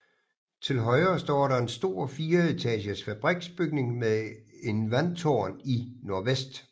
Til højre står der en stor fireetagers fabriksbygning med en vandtårn i nordvest